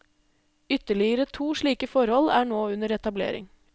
Ytterligere to slike forhold er nå under etablering.